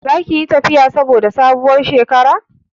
Za ki yi tafiya saboda sabuwar shekara?